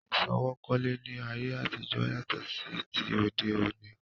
Ìsọwọ́ kólé ni ayé àtijọ́ yàtọ̀ sí ti òde òní